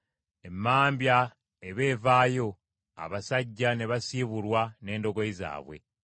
Emmambya eba evaayo abasajja ne basiibulwa n’endogoyi zaabwe.